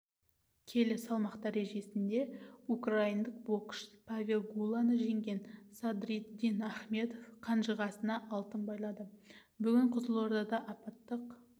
келі салмақ дәрежесінде украиндық боксшы павел гуланы жеңген садриддин ахметов қанжығасына алтын байлады бүгін қызылордада апаттық